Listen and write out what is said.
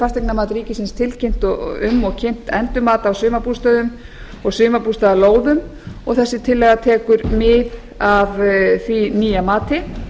fasteignamat ríkisins tilkynnt um og kynnt endurmat á sumarbústöðum og sumarbústaðalóðum og þessi tillaga tekur mið af því nýja mati